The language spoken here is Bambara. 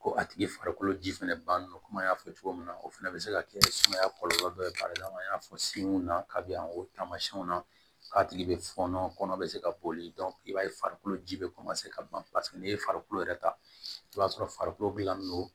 Ko a tigi farikolo ji fɛnɛ bannen don komi an y'a fɔ cogo min na o fɛnɛ be se ka kɛ sumaya kɔlɔlɔ dɔ ye fari la i y'a fɔ sen na kabi yan o tamasiyɛnw na k'a tigi bɛ fɔnɔ kɔnɔ bɛ se ka boli i b'a ye farikolo ji bɛ ka ban paseke n'i ye farikolo yɛrɛ ta i b'a sɔrɔ farikolo gilanlen don